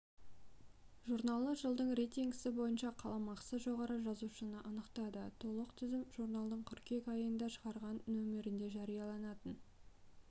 журналы жылдың рейтингісі бойынша қаламақысы жоғары жазушыны анықтады толық тізім журналдың қыркүйек айында шығатын нөмірінде жарияланатын